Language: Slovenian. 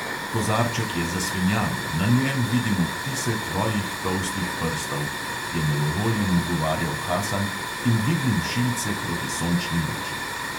"Kozarček je zasvinjan, na njem vidim odtise tvojih tolstih prstov," je nejevoljen ugovarjal hasan in dvignil šilce proti sončni luči.